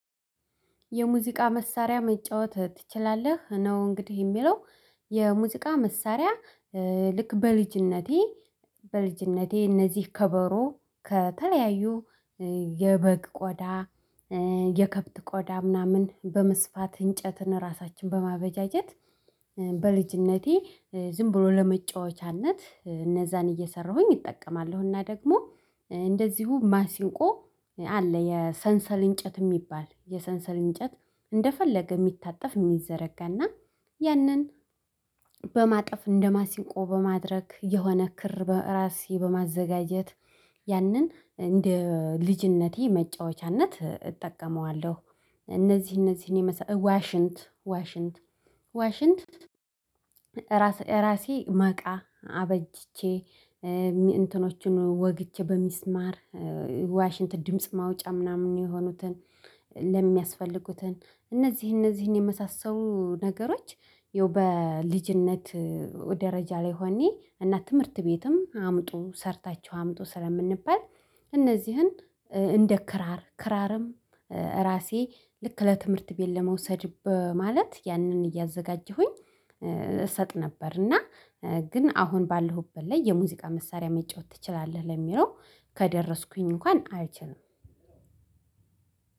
የሙዚቃ መሳሪያ መጫወት ትችላለህ ነው? እንግዲህ የሚለው የሙዚቃ መሳሪያ ልክ በልጅነቴ በልጅነቴ እነዚህ ከበሮ ከተለያዩ የበግ ቆዳ የከብት ቆዳ ምናምን በመስፋት እንጨትን ራሳችን በማበጃጀት በልጅነቴ ዝም ብሎ ለመጫወቻነት እነዛን እየሰራሁኝ እጠቀማለሁ እና ደግሞ እንደዚሁ ማሲንቆ አለ የሰንሰል እንጨት የሚባል የሰንሰል እንጨት እንደፈለገ የሚታጠፍ የሚዘረጋና ያንን በማጠፍ እንደማሲንቆ በማድረግ የሆነ ክር በራሴ በማዘጋጀት ያንን እንደ ልጅነቴ መጫወቻነት እጠቀመዋለሁ። እነዚህ እነዚህን የመሳሰሉ ዋሽንት ዋሽንት ራሴ መቃ አበጅቼ እንትኖቹን ወግቼ በሚስማር ዋሽንት ድምጽ ማውጫ ምናምን የሆኑትን ለሚያስፈልጉትን እነዚህ እነዚህን የመሳሰሉ ነገሮች ያው በልጅነት ደረጃ ላይ ሆኜ እና ትምህርት ቤትም አምጡ ሰርታችው አምጡ ስለምንባል እነዚህን እንደ ክራር ክራርም ራሴ ልክ ለትምህርት ቤት ለመውሰድ በማለት ያንን እያዘጋጀሁኝ እሰጥ ነበር። እና ግን አሁን ባለሁበት ላይ የሙዚቃ መሳሪያ መጫወት ትችላለህ ለሚለው ከደረስኩኝ እንኳን አልችልም።